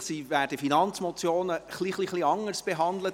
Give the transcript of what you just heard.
Eigentlich werden Finanzmotionen ein bisschen anders behandelt;